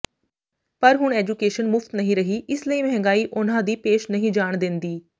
ਪਰ ਹੁਣ ਐਜੂਕੇਸ਼ਨ ਮੁਫ਼ਤ ਨਹੀਂ ਰਹੀ ਇਸ ਲਈ ਮਹਿੰਗਾਈ ਉਹਨਾਂ ਦੀ ਪੇਸ਼ ਨਹੀਂ ਜਾਣ ਦੇਂਦੀ